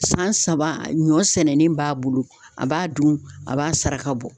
San saba ɲɔn sɛnɛlen b'a bolo, a b'a dun, a b'a saraka bɔ.